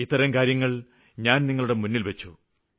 ഇത്തരം കാര്യങ്ങള് ഞാന് നിങ്ങളുടെ മുന്നില്വച്ചു